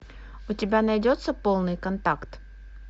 у тебя найдется полный контакт